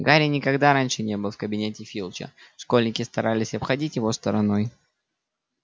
гарри никогда раньше не был в кабинете филча школьники старались обходить его стороной